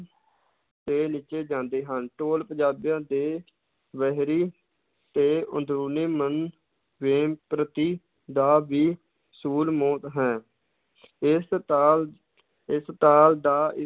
ਤੇ ਨੱਚੇ ਜਾਂਦੇ ਹਨ, ਢੋਲ ਪੰਜਾਬੀਆਂ ਦੇ ਵਹਿਰੀ ਤੇ ਅੰਦਰੂਨੀ ਮਨ ਵੇਗ ਪ੍ਰਤੀ ਦਾ ਵੀ ਹੈ ਇਸ ਤਾਲ ਇਸ ਤਾਲ ਦਾ